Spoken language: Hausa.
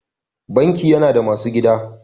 Banki yana da masu gadi.